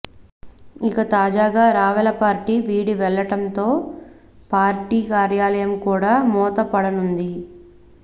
ఇక తాజాగా రావెల పార్టీ వీడి వెళ్ళటంతో పార్టీ కార్యాలయం కూడా మూతపడనుంది